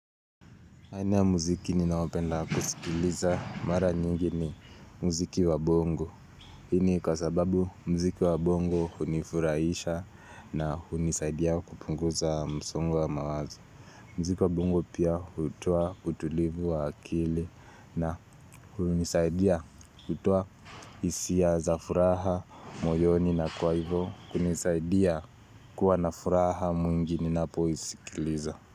Aina ya muziki ninaopenda kusikiliza mara nyingi ni muziki wa bongo. Hii ni kwa sababu mziki wa bongo unifuraisha na hunisaidia kupunguza msongo wa mawazo. Mziki wa bongo pia hutoa utulivu wa akili na hunisaidia kutoa isia za furaha moyoni na kwa ivo kunisaidia kuwa na furaha mwingi ninapo iskiliza.